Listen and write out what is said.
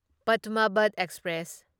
Padmavat express